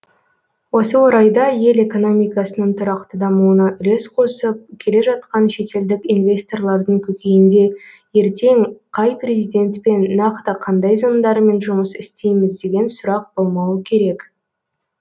осы орайда ел экономикасының тұрақты дамуына үлес қосып келе жатқан шетелдік инвесторлардың көкейінде ертең қай президентпен нақты қандай заңдармен жұмыс істейміз деген сұрақ болмауы керек